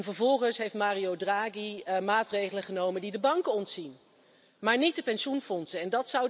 Vervolgens heeft Mario Draghi maatregelen genomen die de banken ontzien, maar niet de pensioenfondsen.